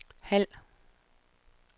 halv